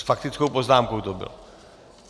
S faktickou poznámkou to bylo?